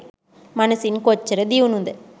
මනසින් කොච්චර දියුණුද?